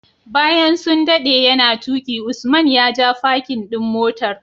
Bayan sun dade yana tuki Usman ya ja parkin ɗin motar.